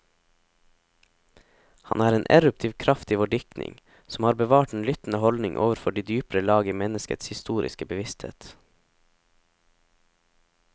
Han er en eruptiv kraft i vår diktning, som har bevart den lyttende holdning overfor de dypere lag i menneskets historiske bevissthet.